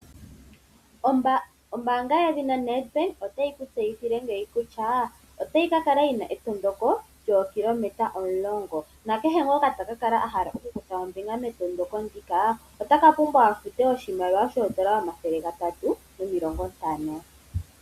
Ombaanga yedhina Nedbank otayi kutseyithile ngeyi kutya otayi kakala yina etondoko lyookilometa omulongo. Nakehe ngoka taka kala ahala okukutha ombinga metondondoko ndika otaka pumbwa a fute oshimaliwa shoodola omathele gatatu nomilongo ntano.